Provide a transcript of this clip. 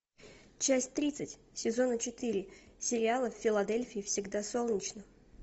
часть тридцать сезона четыре сериала в филадельфии всегда солнечно